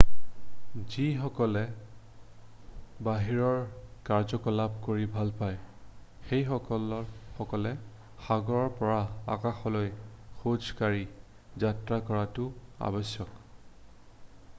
যিসকলে বাহিৰৰ কাৰ্যকলাপ কৰি ভাল পায় সেইসকলে সাগৰৰ পৰা আকাশলৈ খোজ কাঢ়ি যাত্ৰা কৰাটো আৱশ্যক